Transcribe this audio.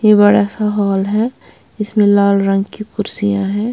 ये बड़ा सा हॉल है इसमें लाल रंग की कुर्सियां हैं।